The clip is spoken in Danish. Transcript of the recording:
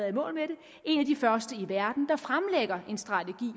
en af de første i verden der fremlægger en strategi